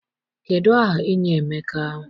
Kedụ aha enyi Emeka?